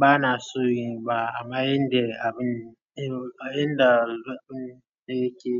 bana so yin ba ama inda abin, inda abin nake.